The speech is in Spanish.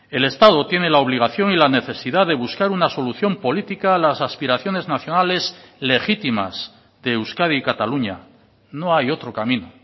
el estado tiene la obligación y la necesidad de buscar una solución política a las aspiraciones nacionales legítimas de euskadi y cataluña no hay otro camino